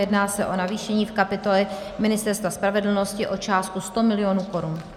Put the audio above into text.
Jedná se o navýšení v kapitole Ministerstva spravedlnosti o částku 100 mil. korun.